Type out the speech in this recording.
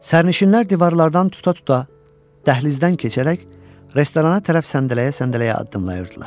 Sərnişinlər divarlardan tuta-tuta dəhlizdən keçərək restorana tərəf səndələyə-səndələyə addımlayırdılar.